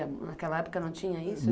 Naquela época não tinha isso?